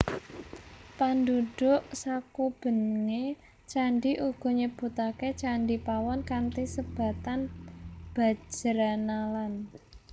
Pandhudhuk sakubenge candhi uga nyebutake Candhi Pawon kanthi sebatan Bajranalan